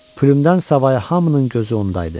Plyumdan savayı hamının gözü onda idi.